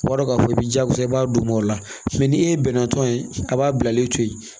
O b'a dɔn k'a fɔ i jaagoya i b'a d'u ma o la ni e bɛnna tɔn ye a b'a bilalen to yen